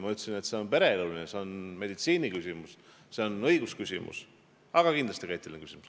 Mina ütlesin, et see on pereelu ja meditsiiniga seotud küsimus, see on õiguslik, aga kindlasti ka eetiline küsimus.